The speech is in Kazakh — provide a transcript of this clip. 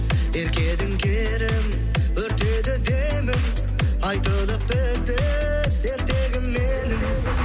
ерке едің керім өртеді демің айтылып бітпес ертегім менің